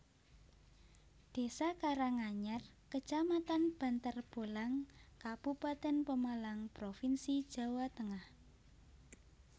Désa Karanganyar kecamatan Bantarbolang kabupatèn Pemalang provinsi Jawa Tengah